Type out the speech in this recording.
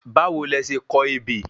Bawo lẹ se kọ ebè?